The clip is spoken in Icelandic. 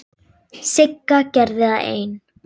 Sigga gerði það ein.